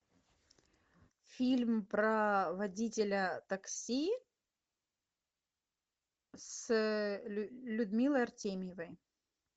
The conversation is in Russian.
фильм про водителя такси с людмилой артемьевой